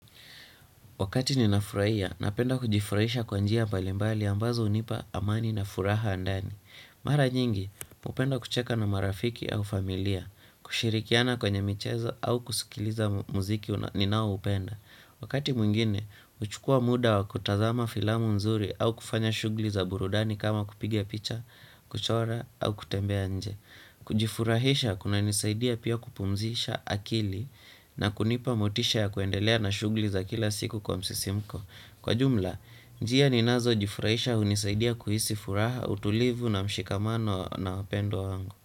Wakati ninafurahia, napenda kujifurahisha kwa njia mbalimbali ambazo hunipa amani na furaha ya ndani. Mara nyingi, hupenda kucheka na marafiki au familia, kushirikiana kwenye michezo au kusikiliza muziki ninao upenda. Wakati mwingine, huchukua muda wa kutazama filamu nzuri au kufanya shughuli za burudani kama kupiga picha, kuchora au kutembea nje. Kujifurahisha kuna nisaidia pia kupumzisha akili na kunipa motisha ya kuendelea na shughuli za kila siku kwa msisimuko kwa jumla, njia ninazo jifurahisha hunisaidia kuhisi furaha utulivu na mshikamano na wapendwa wangu.